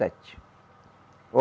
Sete.